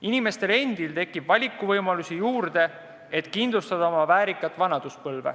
Inimestele tekib valikuvõimalusi juurde, et kindlustada endale väärikas vanaduspõlv.